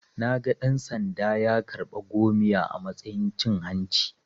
Naga dan-sanda ya karɓa 'gomiya' a matsayin cin hanci.